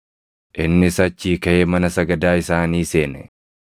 Innis achii kaʼee mana sagadaa isaanii seene;